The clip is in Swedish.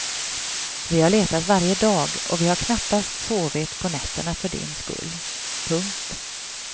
Vi har letat varje dag och vi har knappt sovit på nätterna för din skull. punkt